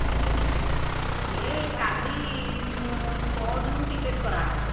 ଏଇ କାଲି ପରଦିନ କୁ ticket କରାହବ